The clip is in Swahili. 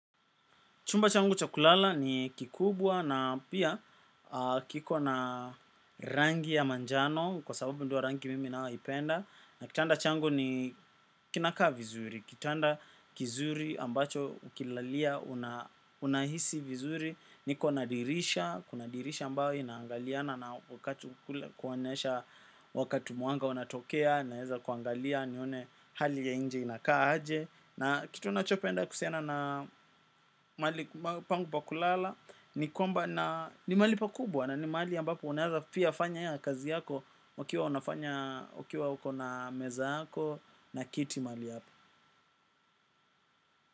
Chumba changu cha kulala ni kikubwa na pia kiko na rangi ya manjano kwa sababu ndio rangi mimi nayoipenda. Na kitanda changu ni kinakaa vizuri. Kitanda kizuri ambacho ukilalia unahisi vizuri. Niko na dirisha, kuna dirisha ambayo inangaliana na wakati kuonesha wakati mwanga unatokea naeza kuangalia nione hali ya inje inakaa aje. Na kitu nachopenda kuhusiana na mahali pangu pa kulala ni mahali pakubwa na ni mahali yambapo unaeza pia fanya kazi yako ukiwa unafanya, ukiwa uko na meza yako na kiti mahali hapa.